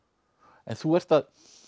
en þú ert